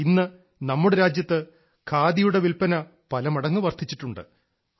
ഇന്ന് നമ്മുടെ രാജ്യത്ത് ഖാദിയുടെ വിൽപ്പന പലമടങ്ങ് വർദ്ധിച്ചിട്ടുണ്ട്